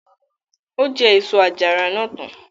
Ó jẹ èso àjàrà náà tán.